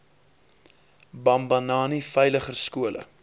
bambanani veiliger skole